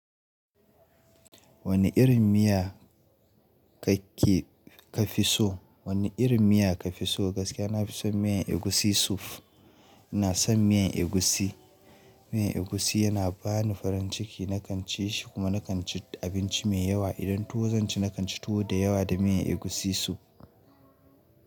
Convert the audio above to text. Wane irin miya kake ka fi so? Wane irin miya ka fi so? Gaskiya na fi son miyan egusi soup. Ina son miyan egusi. Miyan egusi yana bani farin ciki na kan ci shi kuma na kan ci abinci mai yawa. Idan tuwo zan ci, na kan ci tuwo da yawa da miyan egusi soup.